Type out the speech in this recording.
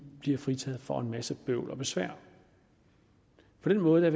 bliver fritaget for en masse bøvl og besvær på den måde